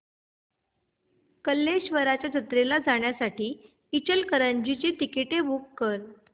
कल्लेश्वराच्या जत्रेला जाण्यासाठी इचलकरंजी ची तिकिटे बुक कर